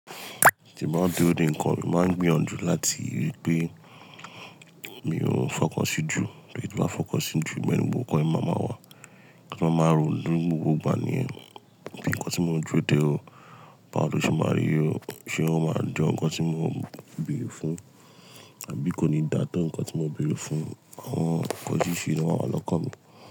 Tí mo bá ń dúró de nǹkan mi, mo màá gbìyànjú láti rií pé mi ò fọkàn sí jù tórí tí n bá fọkàn sí jù, ìbẹ̀ ni ọkàn mi má má wà, kí n máa ronú gbogbo ìgbà ni ẹ. Bí nǹkan tí mo ń dúró dé o, báwo lo ṣe máari o, ṣé ó máa jọ ǹkan tí mò ń bẹ̀rù fún àbí kò ní dàtó ǹkan tí mò ń bẹ̀rù fún, àwọn ǹkan oríṣiríṣi ni ó máa wà lọ́kàn mi.